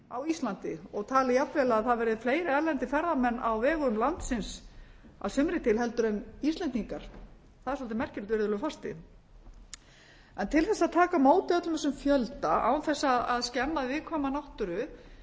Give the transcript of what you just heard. á íslandi og talið jafnvel að það verði fleiri erlendir ferðamenn á vegum landsins að sumri til heldur en íslendingar það er svolítið merkilegt virðulegur forseti en til þess að taka á móti öllum þessum fjölda án þess að skemma viðkvæma náttúru